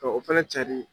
Ka o fɛnɛ cari